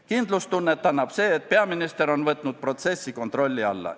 Kindlustunnet annab see, et peaminister on võtnud protsessi kontrolli alla.